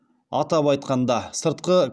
атап айтқанда сыртқы